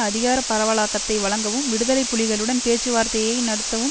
அதிகார பரவலாக்கத்தை வழங்கவும் விடுதலை புலிகளுடன் பேச்சுவார்த்தையை நடத்தவும்